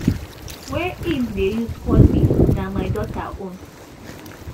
wey im dey use call me na my daughter own